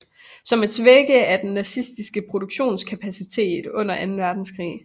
Som at svække af den nazistiske produktionskapacitet under anden verdenskrig